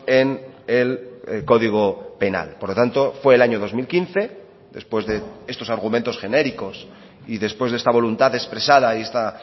en el código penal por lo tanto fue el año dos mil quince después de estos argumentos genéricos y después de esta voluntad expresada y esta